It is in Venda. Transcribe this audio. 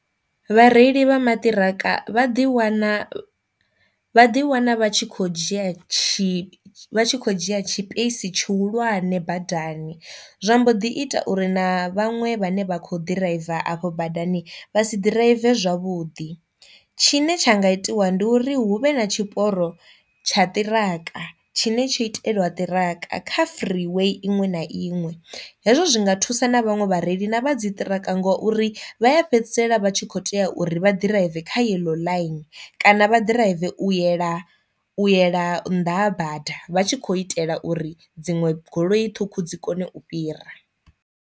Vhareili vha maṱiraka vha ḓi wana vha ḓi wana vha tshi kho dzhia tshi vha tshi kho dzhia tshipeisi tshihulwane badani zwa mbo ḓi ita uri na vhaṅwe vhane vha kho ḓiraiva afho badani vha si ḓiraive zwavhuḓi. Tshine tsha nga itiwa ndi uri hu vhe na tshiporo tsha ṱiraka tshine tsho itelwa ṱiraka kha free way iṅwe na iṅwe, hezwo zwi nga thusa na vhaṅwe vhareili na vha dzi ṱiraka ngori vha ya fhedzisela vha tshi kho tea uri vha ḓiraiva kha yellow line kana vha drive u yela u yela nnḓa ha bada vha tshi khou itela uri dziṅwe goloi ṱhukhu dzi kone u fhira.